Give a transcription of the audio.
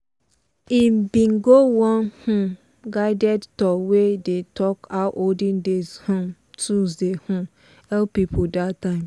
he bin go one um guided tour wey dey talk how olden days um tools dey um help people that time.